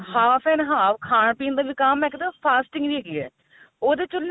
half an ਹਾਵ ਖਾਣ ਪੀਣ ਵਿਕਾਮ ਨਾਲ fasting ਵੀ ਹੈਗੀ ਏ ਉਹਦੇ ਚ ਉਹਨੇ ਕਿਹਾ